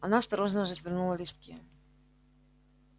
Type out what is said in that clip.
она осторожно развернула листки